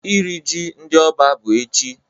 Iri ji ndị Oba bụ echi.